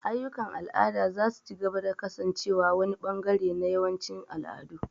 Ayyukan al'ada za su ci gaba da kasancewa wani ɓangare na yawancin al'adu.